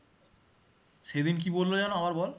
সেদিন কি বললো যেন আবার বল